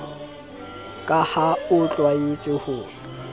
ka ha o tlwaetse ho